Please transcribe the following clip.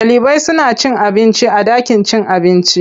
Ɗalibai suna cin abinci a ɗakin cin abinci.